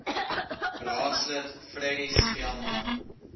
raadslid freddie speelman